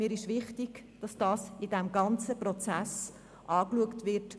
Mir ist wichtig, dass das in dem gesamten Prozess angeschaut wird.